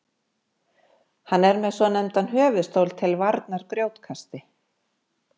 hann er með svonefndan höfuðstól til varnar grjótkasti